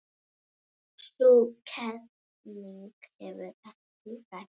Sú kenning hefur ekki ræst.